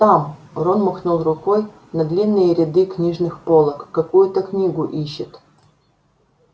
там рон махнул рукой на длинные ряды книжных полок какую-то книгу ищет